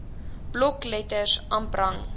blokletters amp rang